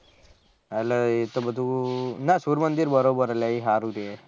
અલ એ તો બધું ના સૂર્યમંદિર બરોબર હે એ હારું રેહ